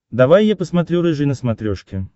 давай я посмотрю рыжий на смотрешке